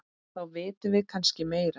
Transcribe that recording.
Þá vitum við kannski meira.